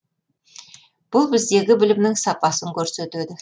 бұл біздегі білімнің сапасын көрсетеді